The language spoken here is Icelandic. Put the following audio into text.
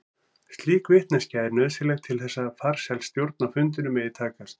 Slík vitneskja er nauðsynleg til þess að farsæl stjórn á fundinum megi takast.